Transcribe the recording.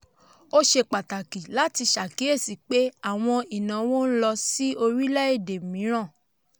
ó ṣe pàtàkì láti ṣàkíyèsí pé àwọn ìnáwó ń lọ sí orílẹ̀-èdè mìíràn.